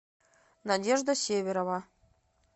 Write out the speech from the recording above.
надежда северова